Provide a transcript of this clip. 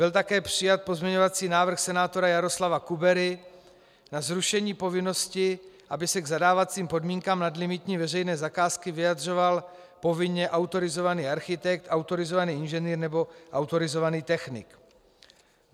Byl také přijat pozměňovací návrh senátora Jaroslava Kubery na zrušení povinnosti, aby se k zadávacím podmínkám nadlimitní veřejné zakázky vyjadřoval povinně autorizovaný architekt, autorizovaný inženýr nebo autorizovaný technik.